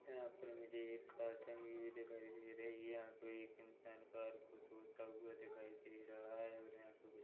यहाँ पर मुझे एक कार टंगी हुई दिखाई दे रही है यहाँ पे एक इंसान कार को धोता हुआ दिखाई दे रहा है और यहाँ पे कुछ--